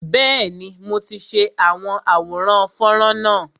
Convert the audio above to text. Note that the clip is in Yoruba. Bẹẹni, mo ti ṣe àwọn àwòrán fọ́nrán náà